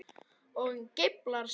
Og geiflar sig.